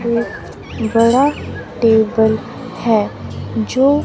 एक बड़ा टेबल है जो--